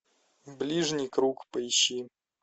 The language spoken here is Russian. ближний круг поищи